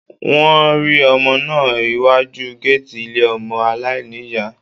Wọ́n rí ọmọ náà iwájú géètì ilé ọmọ aláìní ìyá